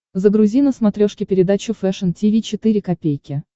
загрузи на смотрешке передачу фэшн ти ви четыре ка